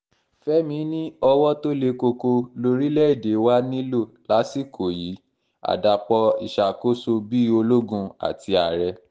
fẹ́mi ni owó tó le koko lórílẹ̀‐èdè wa nílò lásìkò yìí àdàpọ̀ ìṣàkóso bíi ológun àti ààrẹ